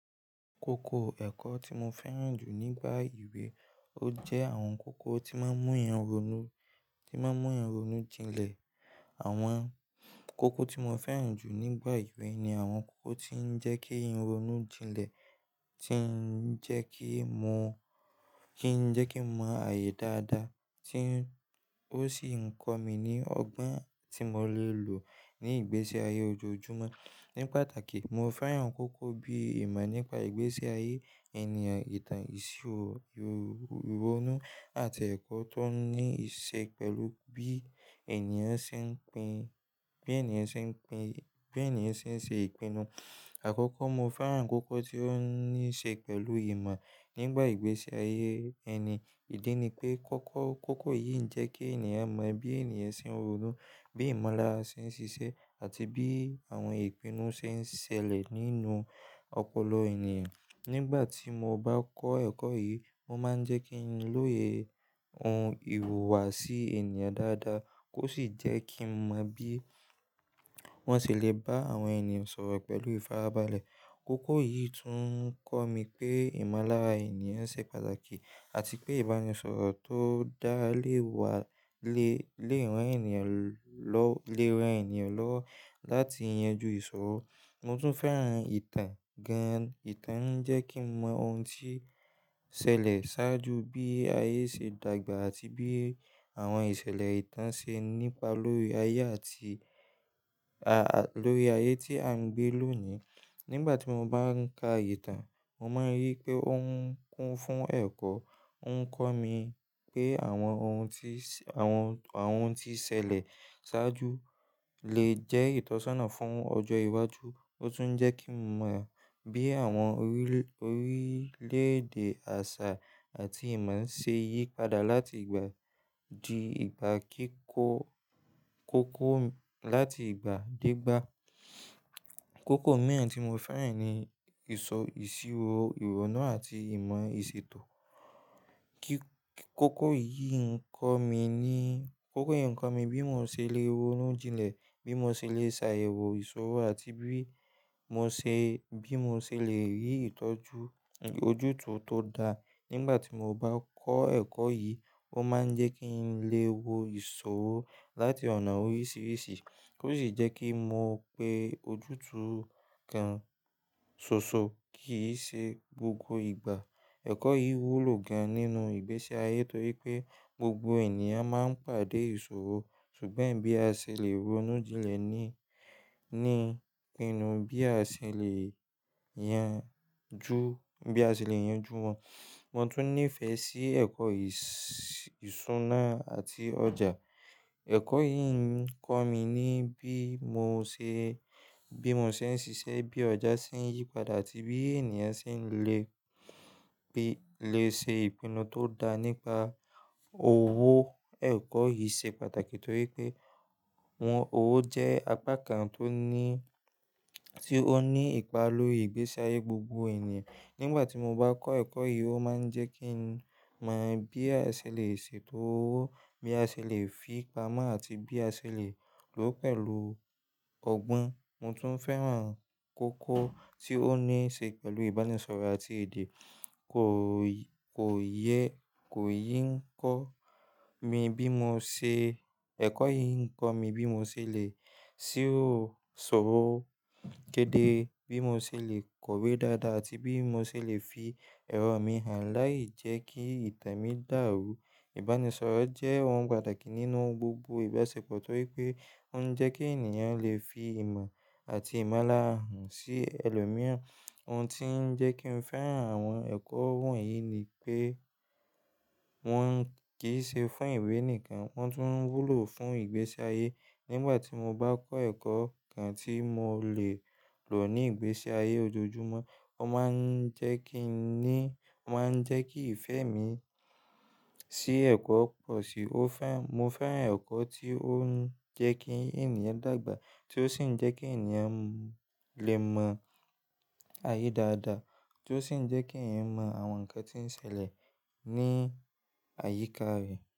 Kókó ẹ̀kọ́ tí mo fẹ́ràn jù nígbà ewé, ó jẹ́ àwọn kókó tí máa ń mú ẹyan ronú, tí máa ń mú ẹyan ronú jinlẹ̀. Àwọn kókó tí mo fẹ́ràn jù nígbà ewé ni àwọn kókó tí ń jẹ́ kí ẹyan ronú jinlẹ̀, tí ń jẹ́ kí n mọ, kí ń jẹ́ kí n mọ ààyè dáadáa, tí ó sì ń kọ́ mi ní ọgbọ́n tí mo lè lò ní ìgbésí ayé ojoojúmọ́. Ní pàtàkì, mo fẹ́ràn kókó bíi ìmọ̀ nípa ìgbésí ayé ènìyàn, ìtàn, ìṣirò, ìrònu àti ẹ̀kọ́ tó ní íṣe pẹ̀lú bí ènìyàn ṣe ń pin, bí ènìyàn ṣe ń pin, bí ènìyàn ṣe ń ṣe ìpinnu. Àkọ́kọ́ mo fẹ́ràn kókó tí ó ní í ṣe pẹ̀lú ìmọ̀ nígbà ìgbésí ayé ẹni. Ìdí ni pé kókó, kókó yìí ń jẹ́ kí ènìyàn mọ bí ènìyàn ṣe ń ronú, bí ìmọ̀lára ṣe ń ṣiṣẹ́ àti bí àwọn ìpinnu ṣe ń ṣẹlẹ̀ nínú ọpọlọ ènìyàn. Nígbà tí mo bá kọ́ ẹ̀kọ́ yìí, ó máa ń jẹ́ kí n lóye ohun ìhùwàsí ènìyàn dáadáa kó sì jẹ́ kí n mọ bí wọ́n ṣe lè bá àwọn ènìyàn sọ̀rọ̀ pẹ̀lú ifarabalẹ. Kókó yìí tún ń kọ́ mi pé ìmọ̀lára ènìyàn ṣe pàtàkì àti pé ìbánisọ̀rọ̀ tó dá léwa le, le ran ènìyàn lọ, le ran ènìyàn lọwọ láti yanju ìṣòro. Mo tún fẹ́ràn ìtàn gan-an. Ìtàn ń jẹ́ kí n mọ ohun tí ṣẹlẹ̀ ṣáájú, bí ayé ṣe dàgbà àti bí àwọn ìṣẹ̀lẹ̀ ìtàn ṣe nípa lórí ayé àti lórí ayé tí à ń gbé lónìí. Nígbà tí mo bá ń ka ìtàn, mo máa ń rí wipé ó ń kún fún ẹ̀kọ́. Ó ń kọ́ mi pé àwọn ohun tí, àwọn, àwọn ohun tí ṣẹlẹ̀ ṣáájú lè jẹ́ ìtọ́sọ́nà fún ọjọ́ iwájú. Otun jẹ kín mọ bí àwọn orílẹ̀-èdè àṣà àti ìmọ̀ ṣe yípadà láti ìgbà dì ìgbà kiko koko láti ìgbà dé ìgbà. Kókó mìíràn tí mo fẹ́ràn ni ìsọ, ìṣirò, ìrònú àti ìmọ̀ ìṣètò. Kíkó, kókó yìí ń kọ́ mi ní, kókó yìí ń kọ́ mi bí mo ṣe lè ronú jinlẹ̀, bí mo ṣe lè ṣàyẹ̀wò ìṣòro àti bí mo ṣe, bí mo ṣe lè rí ìtọ́jú ojútùú tó da. Nígbà tí mo bá kọ́ ẹ̀kọ́ yìí, ó máa ń jẹ́ kí n lè wo ìṣòro láti ọ̀nà oríṣiríṣi kó sì jẹ́ kí n mọ pé ojútùú kan ṣoṣo kì í ṣe gbogbo ìgbà. Ẹ̀kọ́ yìí wúlò gan-an nínú ìgbésí ayé torí pé gbogbo ènìyàn máa ń pàdé ìṣòro. Ṣùgbọ́n bí a ṣe lè ronú jinlẹ̀ ní, ní ìpinnu bí a ṣe lè yanju, bí a ṣe lè yanju wọn. Mo tún nífẹ̀ẹ́ sí ẹ̀kọ́ ìṣúná àti ọjà. Ẹ̀kọ́ yìí ń kọ́ mi ní bí mo ṣe, bí mo ṣe ń ṣiṣẹ́, bí ọjà ṣe ń yípadà àti bí ènìyàn ṣe ń lè, lè ṣe ìpinnu tó dá nípa owó. Ẹ̀kọ́ yìí ṣe pàtàkì torí pé wọ́n, owó jẹ́ apá kan tó ní, tí ó ní ipa lórí ìgbésí ayé gbogbo ènìyàn. Nígbà tí mo bá kọ́ ẹ̀kọ́ yìí, ó máa ń jẹ́ kí n mọ bí a ṣe lè ṣètò owó, bí a ṣe lè fi pamọ́ àti bí a ṣe lè lò ó pẹ̀lú ọgbọ́n. Mo tún fẹ́ràn kókó tí ó ní í ṣe pẹ̀lú ìbánisọ̀rọ̀ àti èdè. Kò yẹ, kò yìí ń kọ́ mi bí mo ṣe, ẹ̀kọ́ yìí ń kọ́ mi bí mo ṣe lè ṣiro sọ̀rọ̀ kedere, bí mo ṣe lè kọ̀wé dáadáa àti bí mo ṣe lè fi ẹ̀rọ mí hàn láì jẹ́ kí ìtàn mi dàrú. Ìbánisọ̀rọ̀ jẹ́ ohun pàtàkì nínú gbogbo ìbáṣepọ̀ torí pé ó ń jẹ́ kí ènìyàn lè fi ìmọ̀ ati imọlara rán si ẹlòmíràn, ohùn tin jẹ kín fẹràn àwọn ẹkọ wọnyi n'ipe wọn kì í ṣe fún ìwé nìkan, wọ́n tún wúlò fún ìgbésí ayé. Nígbà tí mo bá kọ́ ẹ̀kọ́ kan tí mo lè lò ní ìgbésí ayé ojoojúmọ́, ó máa ń jẹ́ kí i ní, ó máa ń jẹ́ kí ìfẹ́ mi sí ẹ̀kọ́ pọ̀ sí i. Ó fẹ́, mo fẹ́ràn ẹ̀kọ́ tí ó ń jẹ́ kí ènìyàn dàgbà tí ó sì ń jẹ́ kí ènìyàn lè mọ ààyè dáadáa tí ó sì ń jẹ́ kí ènìyàn mọ àwọn nǹkan tí ń ṣẹlẹ̀ ní àyíká rẹ̀.